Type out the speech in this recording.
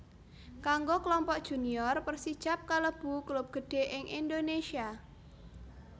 Kanggo Klompok Junior Persijap kalebu klub gedhé ing Indonésia